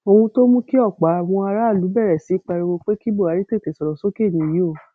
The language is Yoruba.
ohun tó mú kí ọpọ àwọn aráàlú bẹrẹ sí í pariwo pé kí buhari tètè sọrọ sókè nìyí o